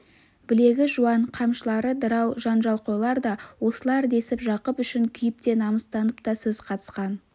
білегі жуан қамшылары дырау жанжалқойлар да осылар десіп жақып үшін күйіп те намыстанып та сөз қатысқан